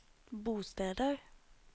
bosteder